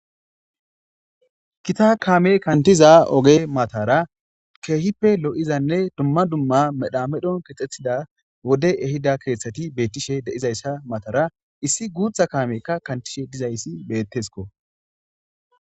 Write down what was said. kita kaame kantiza oge matara keehippe lo7izanne dumma dumma medha medhon kexxethida wode ehida keeththati beettishe deizayssa matara issi guutha kaamekka kantishe dizayssi bettesko